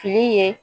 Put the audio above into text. Fini ye